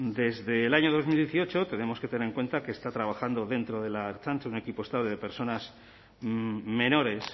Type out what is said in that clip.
desde el año dos mil dieciocho tenemos que tener en cuenta que está trabajando dentro de la ertzaintza un equipo estable de personas menores